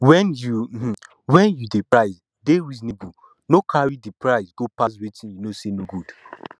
when you um when you um dey price dey reasonable no carry di price go pass wetin you know sey no good